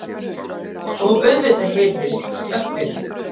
Og auðvitað heyrðist stappið.